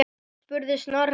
spurði Snorri.